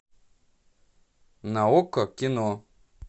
на окко кино